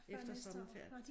Efter sommerferien